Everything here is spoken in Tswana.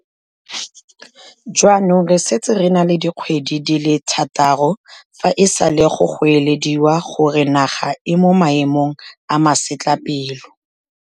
Jaanong re setse re na le dikgwedi di le thataro fa e sale go goelediwa gore naga e mo maemong a masetlapelo.